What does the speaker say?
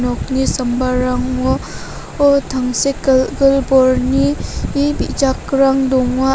okni sambarango oh tangsekgilgil borni ni bijakrang donga.